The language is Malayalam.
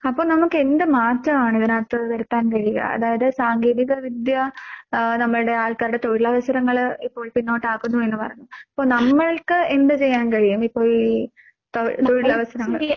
അപ്പ നമുക്കെന്ത് മാറ്റാണ് ഇതിനാത്ത് വരുത്താൻ കഴിയുക അതായത് സാങ്കേതിക വിദ്യ ആഹ് നമ്മൾടെ ആൾക്കാരുടെ തൊഴിലവസരങ്ങള് ഇപ്പോൾ പിന്നോട്ടാക്കുന്നു എന്ന് പറഞ്ഞു. ഇപ്പൊ നമ്മൾക്ക് എന്ത് ചെയ്യാൻ കഴിയും ഇപ്പോൾ ഈ തൊ തൊഴിലവസരങ്ങൾ?